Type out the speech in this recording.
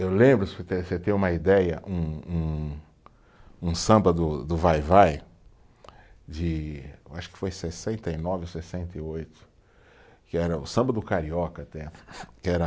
Eu lembro, você ter uma ideia, um um, um samba do, do Vai-vai, de, eu acho que foi em sessenta e nove ou sessenta e oito, que era o samba do Carioca até, que era...